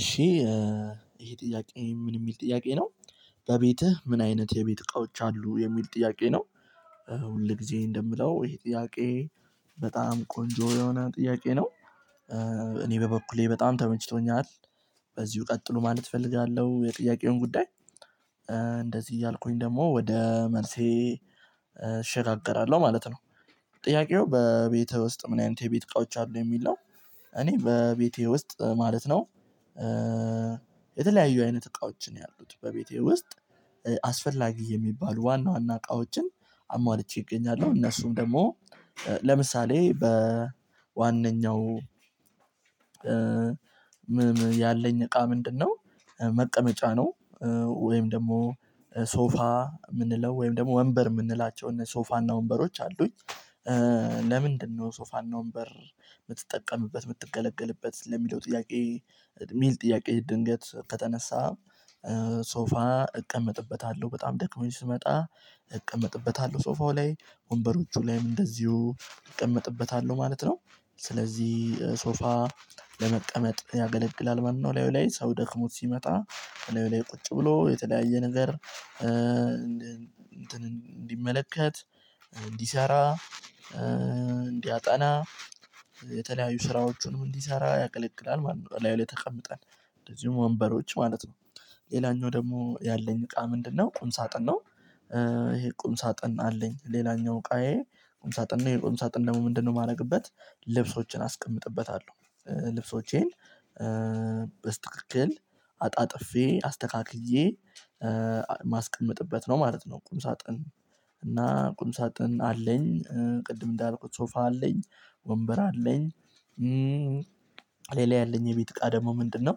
እሺ። ይሄ ጥያቄ ምን የሚል ጥያቄ ነው። በቤትህ ምን አይነት የቤት እቃዎች አሉ የሚል ጥያቄ ነው። ሁል ጊዜ እንደምለው ይሄ ጥያቄ በጣም ቆንጆ የሆነ ጥያቄ ነው። እኔ በበኩሌ በጣም ተመችቶኛል። በዚሁ ቀጥሉ ማለት እፈልጋለሁ የጥያቄውን ጉዳይ። እንደዚህ እያልኩኝ ደግሞ ወደ መልሴ እሸጋገራለሁ ማለት ነው። ጥያቄው በቤትህ ውስጥ ምን አይነት የቤት እቃዎች አሉ የሚል ነው። እኔ በቤቴ ውስጥ ማለት ነው። የተለያዩ አይነት እቃዎች ነው ያሉት በቤቴ ውስጥ። አስፈላጊ የሚባሉ ዋና ዋና እቃዎችን አሟልቼ እገኛለሁ። እነሱም ደግሞ ለምሳሌ በዋነኛው ያለኝ እቃ ምንድነው መቀመጫ ነው። ወይም ደግሞ ሶፋ ምንለው ወይም ደግሞ ወንበር የምንላቸው እነ ሶፋና ወንበሮች አሉኝ። ለምንድነው ሶፋና ወንበር የምትጠቀምበት የምትገለገልበት ለሚለው ጥያቄ ሚል ጥያቄ ድንገት ከተነሳ። ሶፋ እቀመጥበታለሁ በጣም ደክሞኝ ስመጣ እቀመጥበታለሁ ሶፋው ላይ ወንበሮቹ ላይም እንደዚሁ እቀመጥበታለሁ ማለት ነው። ስለዚህ ሶፋ ለመቀመጥ ያገለግላል ማለት ነው። እላዩ ላይ ሰው ደክሞት ሲመጣ እላዩ ላይ ቁጭ ብሎ የተለያየ ነገር እንትን እንዲመለከት እንዲሰራ። እንዲያጠና የተለያዩ ስራዎቹንም እንዲሰራ ያቀለቅላል ማለት ነው። እላዩ ላይ ተቀምጠን እንደዚሁም ወንበሮች ማለት ነው። ሌላኛው ደግሞ ያለኝ እቃ ምንድነው? ቁም ሳጥን ነው። ይሄ ቁም ሳጥን አለኝ ሌላኛው እቃዬ ቁም ሳጥን ነው ይሄ ቁም ሳጥን ደግሞ ምንድነው የማደርግበት ልብሶችን አስቀምጥበታለሁ። ልብሶቼን በስትክክል አጣጥፌ አስተካክዬ ማስቀምጥበት ነው ማለት ነው። ቁም ሳጥን እና ቁም ሳጥን አለኝ ቅድም እንዳልኩት ሶፋ አለኝ ወንበር አለኝ። ሌላ ያለኝ የቤት እቃ ደግሞ ምንድነው?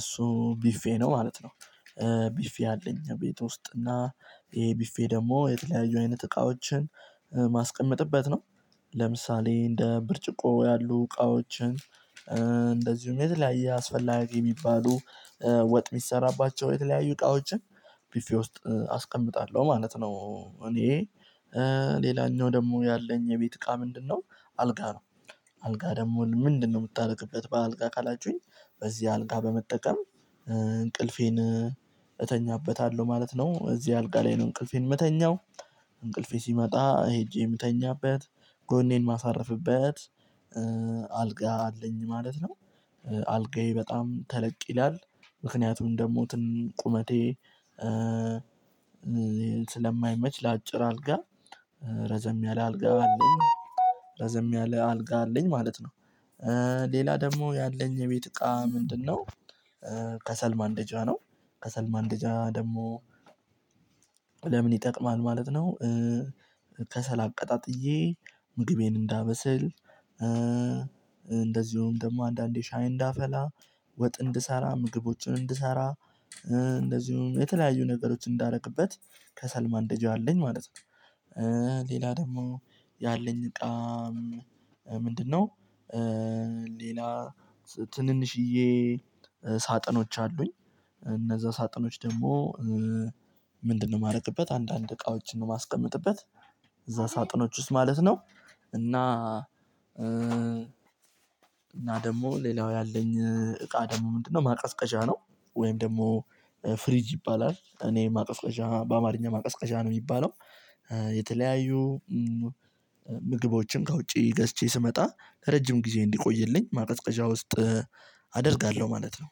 እሱ ቢፌ ነው ማለት ነው። ቢፌ አለኝ ቤት ውስጥ እና ይሄ ቢፌ ደግሞ የተለያዩ አይነት እቃዎችን ማስቀምጥበት ነው። ለምሳሌ እንደ ብርጭቆ ያሉ እቃዎችን እንደዚሁም የተለያየ አስፈላጊ የሚባሉ ወጥ የሚሰራባቸው የተለያዩ እቃዎችን ብፌ ውስጥ አስቀምጣለሁ ማለት ነው። እኔ ሌላኛው ደግሞ ያለኝ የቤት እቃ ምንድነው? አልጋ ነው። አልጋ ደግሞ ምንድነው የምታደርግበት በአልጋ ካላችሁኝ። በዚህ አልጋ በመጠቀም እንቅልፌን እተኛበታለሁ ማለት ነው። እዚህ አልጋ ላይ ነው እንቅልፌን የምተኛው። እንቅልፌ ሲመጣ ሄጄ የምተኛበት ጎኔን ማሳርፍበት አልጋ አለኝ ማለት ነው። አልጋዬ በጣም ተለቅ ይላል ምክንያቱም ደግሞ ትን ቁመቴ ስለማይመች ለአጭር አልጋ ረዘም ያለ አልጋ አለኝ። ረዘም ያለ አልጋ አለኝ ማለት ነው። ሌላ ደግሞ ያለኝ የቤት እቃ ምንድነው? ከሰል ማንደጃ ነው። ከሰል ማንደጃ ደግሞ ለምን ይጠቅማል ማለት ነው። ከሰል አቀጣጥዬ ምግቤን እንዳበስል እንደዚሁም ደግሞ አንዳንዴ ሻይ እንዳፈላ ወጥ እንድሰራ ምግቦችን እንድሰራ። እንደዚሁም የተለያዩ ነገሮች እንዳረግበት ከሰል ማንደጃ አለኝ ማለት ነው። ሌላ ደግሞ ያለኝ እቃ ምንድነው? ሌላ ትንንሽዬ ሳጥኖች አሉኝ። እነዛ ሳጥኖች ደግሞ ምንድነው የማደርግበት አንዳንድ እቃዎችን ነው የማስቀምጥበት። እዛ ሳጥኖች ውስጥ ማለት ነው። እና ደግሞ ሌላው ያለኝ እቃ ደግሞ ምንድነው ማቀዝቀዣ ነው። ወይም ደግሞ ፍሪጅ ይባላል እኔ ማቀዝቀዣ በአማርኛ ማቀዝቀዣ ነው የሚባለው። የተለያዩ ምግቦችን ከውጪ ገዝቼ ስመጣ ለረጅም ጊዜ እንዲቆይልኝ ማቀዝቀዣ ውስጥ አደርጋለሁ ማለት ነው።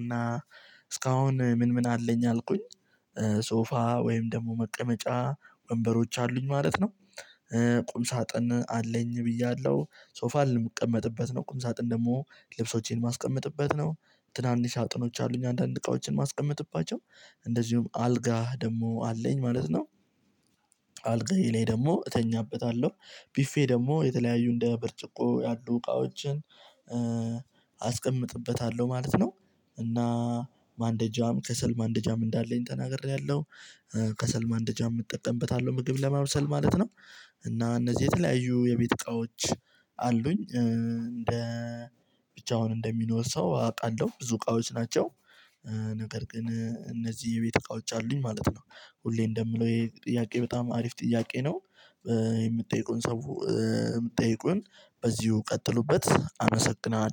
እና እስካሁን ምን ምን አለኝ አልኩኝ። ሶፋ ወይም ደግሞ መቀመጫ ወንበሮች አሉኝ ማለት ነው። ቁም ሳጥን አለኝ ብያለሁ ሶፋን የምቀመጥበት ነው ቁም ሳጥን ደግሞ ልብሶቼን የማስቀምጥበት ነው። ትናንሽ ሳጥኖች አሉኝ አንዳንድ እቃዎችን ማስቀምጥባቸው እንደዚሁም አልጋህ ደግሞ አለኝ ማለት ነው። አልጋዬ ላይ ደግሞ እተኛበታለሁ ቢፌ ደግሞ የተለያዩ እንደ ብርጭቆ ያሉ እቃዎችን አስቀምጥበታለሁ ማለት ነው። እና ማንደጃም ከሰል ማንደጃም እንዳለኝ ተናግሬያለሁ። ከሰል ማን ደጃም እጠቀምበታለሁ ምግብ ለማብሰል ማለት ነው። እና እነዚህ የተለያዩ የቤት እቃዎች አሉኝ። ብቻውን እንደሚኖር ሰው አውቃለሁ ብዙ እቃዎች ናቸው። ነገር ግን እነዚህ የቤት እቃወች አሉኝ ማለት ነው። ሁሌ እንደምለው ይሄ ጥያቄ በጣም አሪፍ ጥያቄ ነው። የምትጠይቁን ሰው የምትጠይቁን በዚሁ ቀጥሉበት አመሰግናለሁ